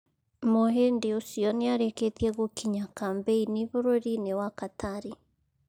Muhĩndi ũcio niarĩkĩtie gũkinya kambĩinĩ burũrinĩ wa Katari.